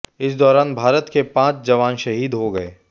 इस दौरान भारत के पांच जवान शहीद हो गए